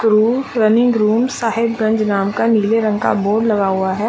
Crew running room Sahebganj नाम का नीले रंग का बोर्ड लगा हुआ है।